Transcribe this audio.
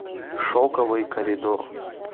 шоковый коридор